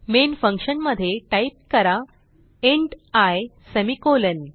main function मध्ये type करा int i semicolon